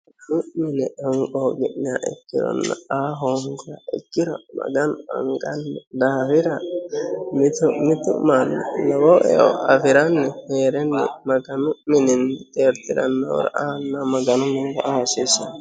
sammi yine honqooqi'niha ikkironna aa hoongiha ikkiro maganu hanqanno dafira mitu mitu manni lowo eo afiranni heerenni maganu mininni xeertiranno maganu minira aa hasiissanno.